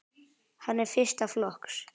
Hann er fyrsta flokks.